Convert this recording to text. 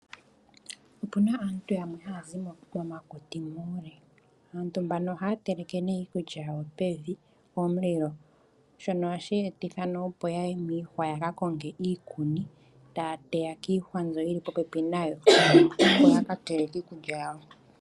Opuna aantu yamwe haya zi momakuti muule, aantu mbano ohaya teleke nee iikulya yawo pevi pomulilo. Shono ohashi etitha opo yaye miihwa yaka konge iikuni taya teya kiihwa mbyoka yili popepi nayo, opo yaka teleke iikulya yawo.